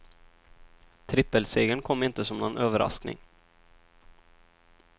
Trippelsegern kom inte som någon överraskning.